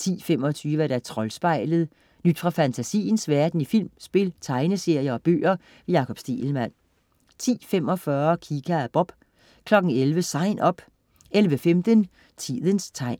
10.25 Troldspejlet.. Nyt fra fantasiens verden i film, spil, tegneserier og bøger. Jakob Stegelmann 10.45 Kika og Bob 11.00 SIGN UP 11.15 Tidens tegn